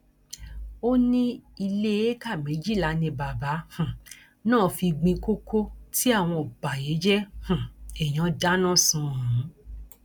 ó ní ilé éékà méjìlá ni bàbá um náà fi gbin kókó tí àwọn ọbàyéjẹ um èèyàn dáná sun ọhún